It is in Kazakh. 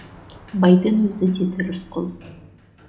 байдың өзі деді рысқұл